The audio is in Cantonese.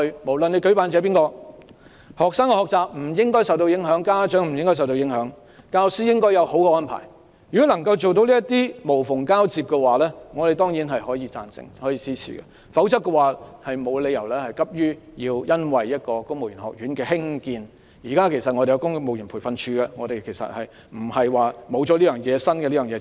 不論營辦者是誰，學生的學習不應受到影響，家長也不應受到影響，而教師亦應得到妥善的安排。如果政府能夠做到無縫交接，我們當然贊成及支持，但政府不應急於興建公務員學院，現時其實也有公務員培訓處，並非沒有這個新學院便不行。